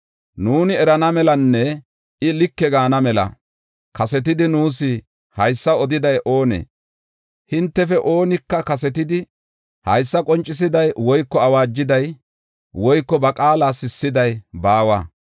Nuuni erana melanne I like gaana mela kasetidi nuus haysa odiday oonee? Hintefe oonika kasetidi haysa qoncisiday, woyko awaajiday woyko ba qaala sissiday baawa.